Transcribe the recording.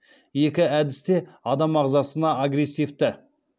екі әдіс те адам ағзасына агрессивті